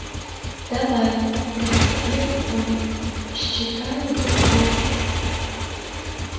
давай прохрипел он считаю до трёх